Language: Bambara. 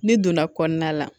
N'i donna kɔnɔna la